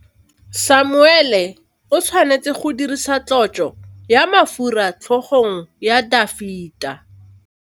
Samuele o tshwanetse go dirisa tlotsô ya mafura motlhôgong ya Dafita.